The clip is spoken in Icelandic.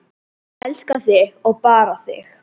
Ég elska þig og bara þig.